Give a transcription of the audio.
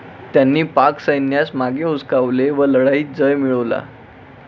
त्यांनी पाक सैन्यास मागे हुसकावले व लढाईत जय मिळवला.